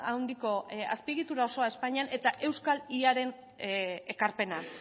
handiko azpiegitura osoa espainian eta euskal yaren ekarpena